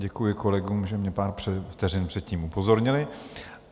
Děkuji kolegům, že mě pár vteřin předtím upozornili.